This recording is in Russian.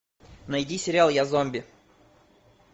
найди сериал я зомби